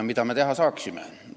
Mida me teha saame?